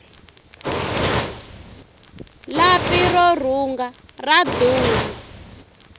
lapi ro rhunga ra durha